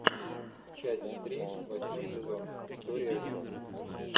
часть три восьмой сезон история о жизни